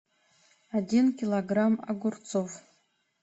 один килограмм огурцов